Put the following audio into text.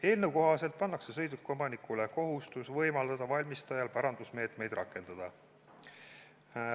Eelnõu kohaselt pannakse sõidukiomanikule kohustus võimaldada valimistajal parandusmeetmeid rakendada.